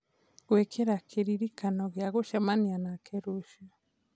gwĩkĩra kĩririkano gĩa gũcemania nake rũciũ